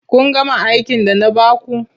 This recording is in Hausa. Kun gama aikin da na ba ku.